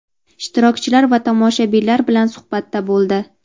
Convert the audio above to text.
ishtirokchilar va tomoshabinlar bilan suhbatda bo‘ldi.